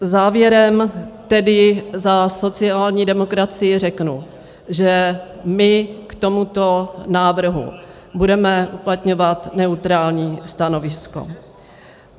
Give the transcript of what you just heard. Závěrem tedy za sociální demokracii řeknu, že my k tomuto návrhu budeme uplatňovat neutrální stanovisko.